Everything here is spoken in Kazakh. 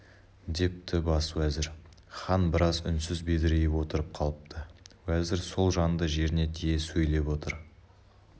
депті бас уәзір хан біраз үнсіз бедірейіп отырып қалыпты уәзір сол жанды жеріне тие сөйлеп отыр